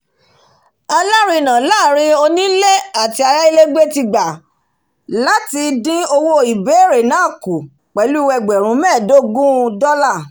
alárinà láàrin onílé àti ayálégbé ti gbà láti dín owó ìbéèrè náà kù pẹ̀lú ẹgbẹ̀rún mẹ́ẹ̀dógún dọ́là